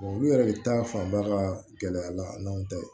olu yɛrɛ de ta fanba ka gɛlɛya la an ta ye